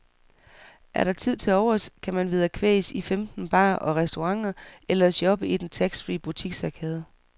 Er der tid tilovers, kan man vederkvæges i femten barer og restauranter eller shoppe i den taxfree butiksarkade.